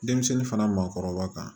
Denmisɛnnin fana maakɔrɔba kan